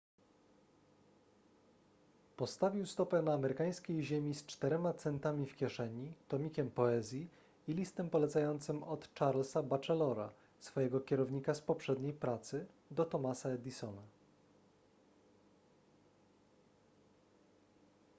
postawił stopę na amerykańskiej ziemi z 4 centami w kieszeni tomikiem poezji i listem polecającym od charlesa batchelora swojego kierownika z poprzedniej pracy do thomasa edisona